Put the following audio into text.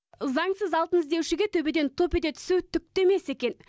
заңсыз алтын іздеушіге төбеден топ ете түсу түк те емес екен